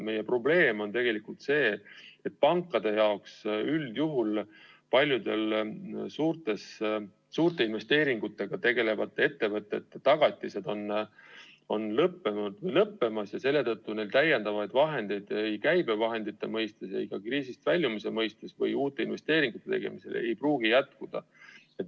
Meie probleem on tegelikult see, et pankade jaoks on üldjuhul paljude suurte investeeringutega tegelevate ettevõtete tagatised lõppenud või lõppemas ja selle tõttu neil lisavahendeid ei käibevahendite mõistes ega kriisist väljumise mõistes või uute investeeringute tegemisel ei pruugi jätkuda.